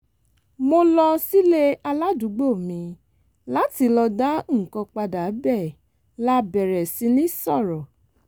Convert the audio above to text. mo lọ sílé aládùúgbò mi láti lọ dá nǹkan padà bẹ́ẹ̀ la bẹ̀rẹ̀ sí ní sọ̀rọ̀